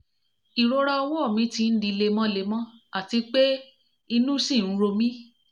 irora ọwọ́ mi ti n di lemọ́lemọ́ àti pé inú ṣì ń ro mí